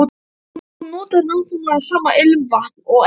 Hún notar nákvæmlega sama ilmvatn og Eva.